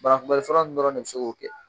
banakunbɛli fura ninnu dɔrɔn de bɛ se k'o kɛ